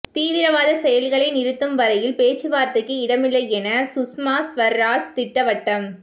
தீவிரவாத செயல்களை நிறுத்தும் வரையில் பேச்சு வார்த்தைக்கு இடமில்லை என சுஷ்மா ஸ்வராஜ் திட்டவட்டம்